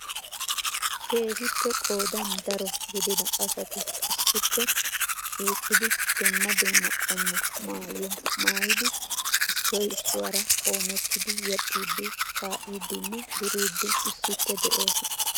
Keehippe qoodan daro gidida asati issippe shiiqqidi dumma dumma qommo maayyuwa maayyidi issoy issuwaara qoomettidi yeexxidi, kaa'idinne duriidi issippe de'oosona.